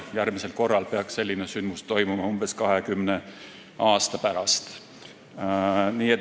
Järgmisel korral peaks selline sündmus toimuma umbes 20 aasta pärast.